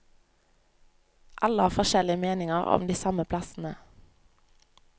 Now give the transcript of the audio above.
Alle har forskjellige meninger om de samme plassene.